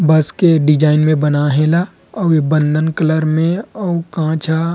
बस के डिज़ाइन में बनाय हे ए ला अउ ये बंधन कलर में अउ कांच ह--